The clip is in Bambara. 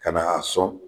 Ka na a sɔn